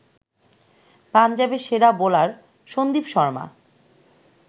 পাঞ্জাবের সেরা বোলার সন্দীপ শর্মা